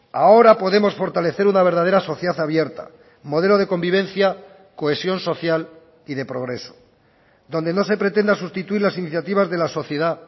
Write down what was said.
ahora podemos fortalecer una verdadera sociedad abierta modelo de convivencia cohesión social y de progreso donde no se pretenda sustituir las iniciativas de la sociedad